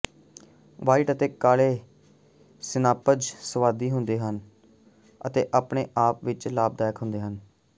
white ਅਤੇ ਕਾਲੇ ਸਿਨਾਪਜ਼ ਸੁਆਦੀ ਹੁੰਦੇ ਹਨ ਅਤੇ ਆਪਣੇ ਆਪ ਵਿੱਚ ਲਾਭਦਾਇਕ ਹੁੰਦੇ ਹਨ